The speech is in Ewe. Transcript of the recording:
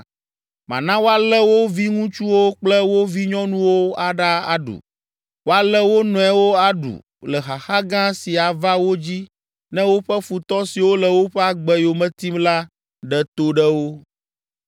Mana woalé wo viŋutsuwo kple wo vinyɔnuwo aɖa aɖu. Woalé wo nɔewo aɖu le xaxa gã si ava wo dzi ne woƒe futɔ siwo le woƒe agbe yome tim la ɖe to ɖe wo?’